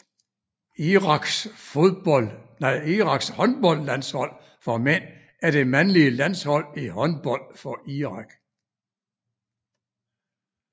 Iraks håndboldlandshold for mænd er det mandlige landshold i håndbold for Irak